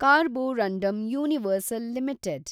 Carborundum universal limited